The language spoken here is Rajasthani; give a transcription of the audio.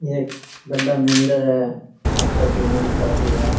एक बड़ा मंदिर है माता जी मनसा जी का।